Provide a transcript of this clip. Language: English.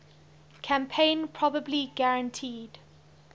campaign probably guaranteed